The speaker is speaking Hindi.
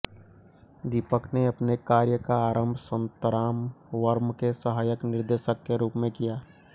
दीपक ने अपने कार्य का आरंभ संतराम वर्म के सहायक निर्देशक के रूप में किया